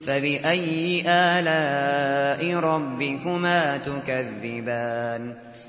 فَبِأَيِّ آلَاءِ رَبِّكُمَا تُكَذِّبَانِ